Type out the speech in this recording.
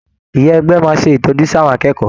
Ìyá ẹgbẹ́ máa ṣé ìtọ́jú sí àwọn akẹ́kọ̀ọ́.